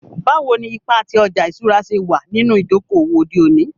Bawo ni ipa ti ọja iṣura ṣe wa ninu idoko-owo ode oni?